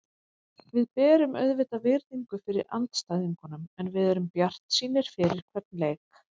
Við berum auðvitað virðingu fyrir andstæðingunum en við erum bjartsýnir fyrir hvern leik.